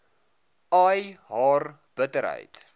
ai haar bitterheid